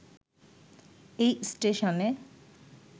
এই স্টেশনে